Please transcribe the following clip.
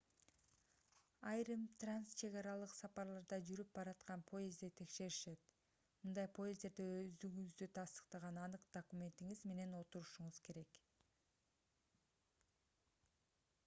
айрым трансчегаралык сапарларда жүрүп бараткан поездде текшеришет мындай поезддерде өздүгүңүздү тастыктаган анык документиңиз менен отурушуңуз керек